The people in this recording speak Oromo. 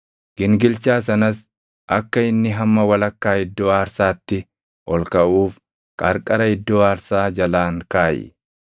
Gingilchaa sanas akka inni hamma walakkaa iddoo aarsaatti ol kaʼuuf qarqara iddoo aarsaa jalaan kaaʼi.